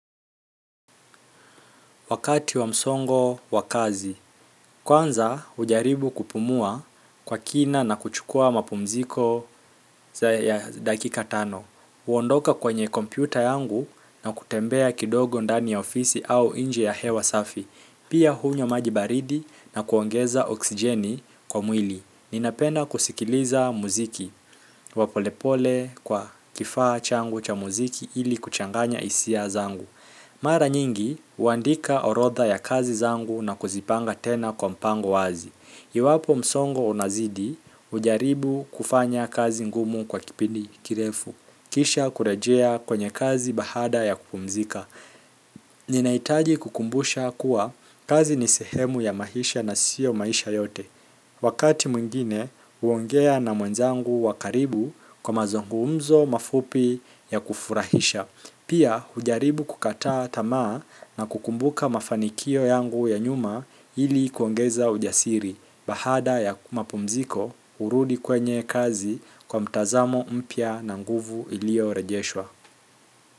Wakati wa msongo wa kazi kwanza hujaribu kupumua kwa kina na kuchukua mapumziko za dakika tano huondoka kwenye kompyuta yangu na kutembea kidogo ndani ya ofisi au nje ya hewa safi, pia hunywa maji baridi na kuongeza oxygen kwa mwili. Ninapenda kusikiliza mziki wa polepole kwa kifaa changu cha mziki ili kuchanganya hisia zangu mara nyingi, huandika orodha ya kazi zangu na kuzipanga tena kwa mpango wazi. Iwapo msongo unazidi, hujaribu kufanya kazi ngumu kwa kipindi kirefu. Kisha kurejea kwenye kazi bahada ya kupumzika. Ninahitaji kukumbusha kuwa kazi ni sehemu ya maisha na sio maisha yote. Wakati mwingine, huongea na mwenzangu wa karibu kwa mazungumzo mafupi ya kufurahisha. Pia hujaribu kukataa tamaa na kukumbuka mafanikio yangu ya nyuma ili kuongeza ujasiri baada ya mapumziko hurudi kwenye kazi kwa mtazamo mpya na nguvu ilio rejeshwa.